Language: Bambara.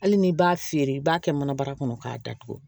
Hali n'i b'a feere i b'a kɛ mana bara kɔnɔ k'a datugu